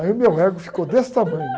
Aí o meu ego ficou desse tamanho.